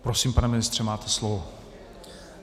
Prosím, pane ministře, máte slovo.